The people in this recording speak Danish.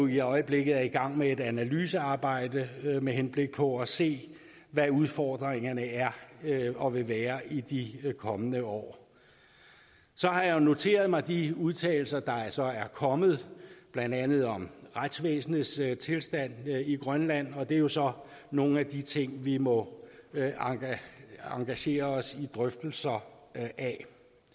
i øjeblikket i gang med et analysearbejde med henblik på at se hvad udfordringen er og vil være i de kommende år så har jeg jo noteret mig de udtalelser der altså er kommet blandt andet om retsvæsenets tilstand i grønland og det er jo så nogle af de ting vi må engagere os i drøftelser af